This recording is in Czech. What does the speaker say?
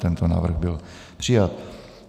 Tento návrh byl přijat.